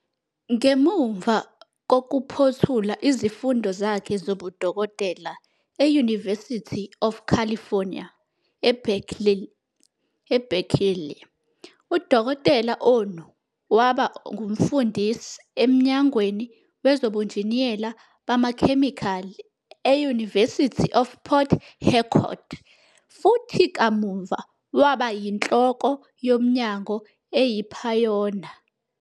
Ngemuva kokuphothula izifundo zakhe zobudokotela e- University of California, eBerkeley, uDkt Onu waba ngumfundisi eMnyangweni Wezobunjiniyela Bamakhemikhali e- University of Port Harcourt, futhi kamuva waba yiNhloko yoMnyango eyiphayona.